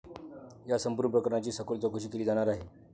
या संपूर्ण प्रकरणाची सखोल चौकशी केली जाणार आहे.